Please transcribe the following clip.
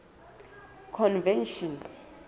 convention